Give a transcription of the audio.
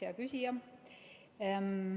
Hea küsija!